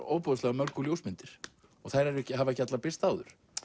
ofboðslega mörgu ljósmyndir og þær hafa ekki allar birst áður